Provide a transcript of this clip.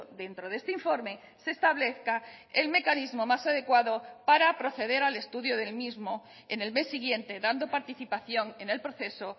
dentro de este informe se establezca el mecanismo más adecuado para proceder al estudio del mismo en el mes siguiente dando participación en el proceso